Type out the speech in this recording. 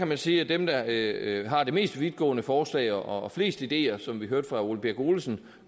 man sige at dem der har det mest vidtgående forslag og flest ideer som vi hørte fra herre ole birk olesen